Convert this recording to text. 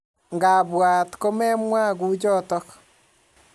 Ngabwat ko memwa kuchotok